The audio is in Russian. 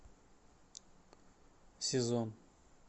сезон